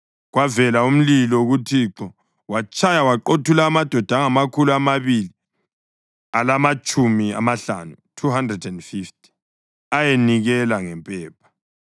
Kwavela umlilo kuThixo watshaya waqothula amadoda angamakhulu amabili alamatshumi amahlanu (250) ayenikela ngempepha.